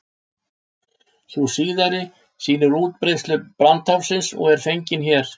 Sú síðari sýnir útbreiðslu brandháfsins og er fengin hérna.